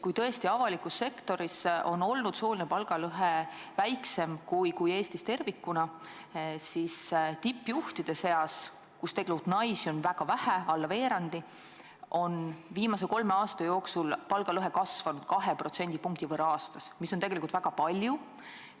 Kui tõesti avalikus sektoris on sooline palgalõhe olnud väiksem kui Eestis tervikuna, siis tippjuhtide seas, kus naisi on väga vähe, alla veerandi, on viimase kolme aasta jooksul palgalõhe kasvanud 2% võrra aastas, mis on tegelikult väga palju.